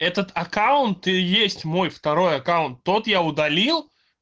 этот аккаунт и есть мой второй аккаунт тот я удалил